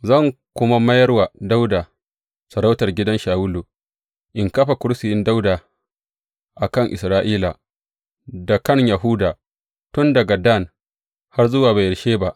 Zan kuma mayar wa Dawuda sarautar gidan Shawulu, in kafa kursiyin Dawuda a kan Isra’ila, da kan Yahuda tun daga Dan har zuwa Beyersheba.